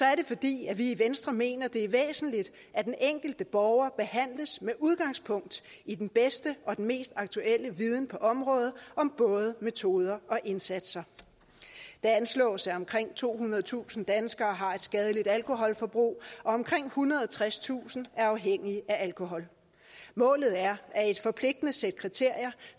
er det fordi vi i venstre mener at det er væsentligt at den enkelte borger behandles med udgangspunkt i den bedste og mest aktuelle viden på området om både metoder og indsatser det anslås at omkring tohundredetusind danskere har et skadeligt alkoholforbrug og at omkring ethundrede og tredstusind er afhængige af alkohol målet er at et forpligtende sæt kriterier